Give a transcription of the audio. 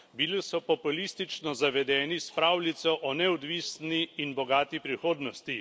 Bili so populistično zavedeni s pravljico o neodvisni in bogati prihodnosti.